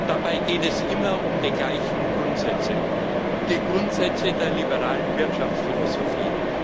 Dabei geht es immer um die gleichen Grundsätze, die Grundsätze der liberalen Wirtschaftsphilosophie.